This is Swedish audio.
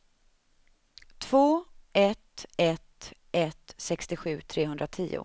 två ett ett ett sextiosju trehundratio